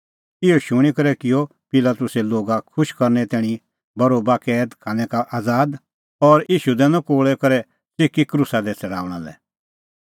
इहअ शूणीं करै किअ पिलातुसै लोगा खुश करनै तैणीं बरोबा कैद खानै का आज़ाद और ईशू दैनअ कोल़ै करै च़िकी क्रूसा दी छ़ड़ाऊंणा लै